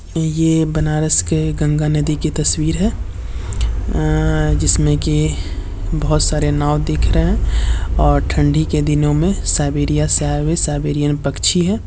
ये बनारस के गंगा नदी की तस्वीर है अं जिसमें कि बोहोत सारे नाव दिख रहे हैं और ठंडी के दिनों में साइबेरिया से आए हुए साइबेरियन पक्षी हैं।